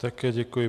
Také děkuji.